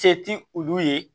Se ti olu ye